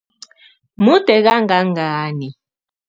Mude kangangani?